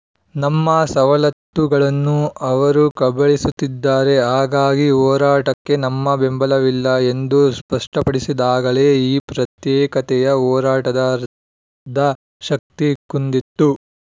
ನಮ್ಮ ಸವಲತ್ತುಗಳನ್ನೂ ಅವರು ಕಬಳಿಸುತ್ತಿದ್ದಾರೆ ಹಾಗಾಗಿ ಹೋರಾಟಕ್ಕೆ ನಮ್ಮ ಬೆಂಬಲವಿಲ್ಲ ಎಂದು ಸ್ಪಷ್ಟಪಡಿಸಿದಾಗಲೇ ಈ ಪ್ರತ್ಯೇಕತೆಯ ಹೋರಾಟದ ಅರ್ಧ ಶಕ್ತಿ ಕುಂದಿತ್ತು